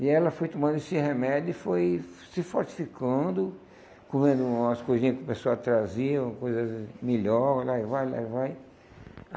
E ela foi tomando esse remédio e foi se fortificando, comendo umas coisinhas que o pessoal trazia, coisas melhores, lá e vai, lá e vai.